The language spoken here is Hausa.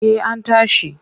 Eh an tashi.